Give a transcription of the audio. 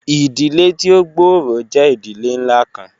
Idile ti o gbooro jẹ idile nla kan